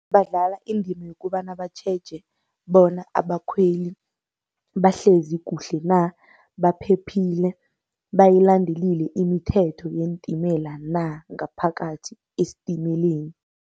Badlala indima yokobana batjheje bona abakhweli bahlezi kuhle na, baphephile, bayilandelile imithetho yeentimela na, ngaphakathi estimeleni.